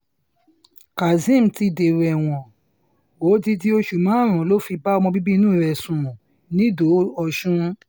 kazeem ti dèrò ẹ̀wọ̀n ó odidi oṣù márùn-ún ló fi bá ọmọ bíbí inú rẹ̀ sùn nìdó-òsùn